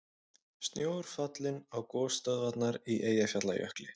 Snjór fallinn á gosstöðvarnar í Eyjafjallajökli